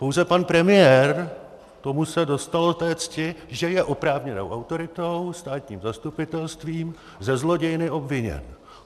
Pouze pan premiér, tomu se dostalo té cti, že je oprávněnou autoritou, státním zastupitelstvím, ze zlodějny obviněn.